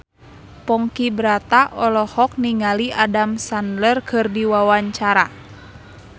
Ponky Brata olohok ningali Adam Sandler keur diwawancara